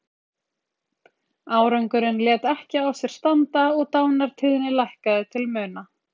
Árangurinn lét ekki á sér standa og dánartíðni lækkaði til muna.